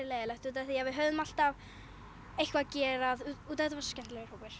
leiðinlegt út af því að við höfðum alltaf eitthvað að gera þetta var svo skemmtilegur hópur